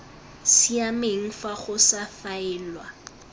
siameng fa go sa faelwa